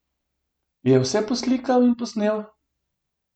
Je vse poslikal in posnel?